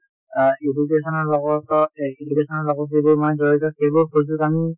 অ education ৰ লগত বা লগত যিবোৰ মানে জড়িত সেইবোৰ সুযোগ আমি